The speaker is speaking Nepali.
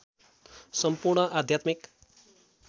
सम्पूर्ण आध्यात्मिक